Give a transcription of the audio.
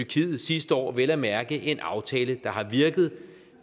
tyrkiet sidste år vel at mærke en aftale der har virket